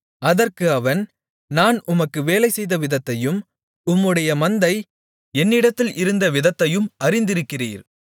அதற்கு அவன் நான் உமக்கு வேலை செய்தவிதத்தையும் உம்முடைய மந்தை என்னிடத்தில் இருந்த விதத்தையும் அறிந்திருக்கிறீர்